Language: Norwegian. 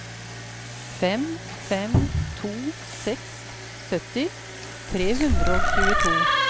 fem fem to seks sytti tre hundre og tjueto